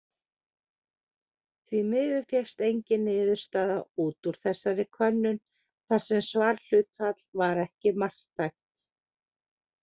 Því miður fékkst engin niðurstaða út úr þessari könnun þar sem svarhlutfall var ekki marktækt.